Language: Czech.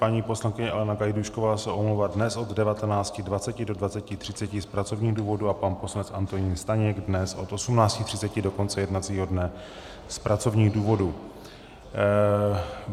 Paní poslankyně Alena Gajdůšková se omlouvá dnes od 19.20 do 20.30 z pracovních důvodů a pan poslanec Antonín Staněk dnes od 18.30 do konce jednacího dne z pracovních důvodů.